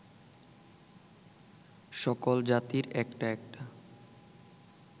সকল জাতির একটা একটা